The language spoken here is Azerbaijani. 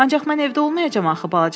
Ancaq mən evdə olmayacam axı,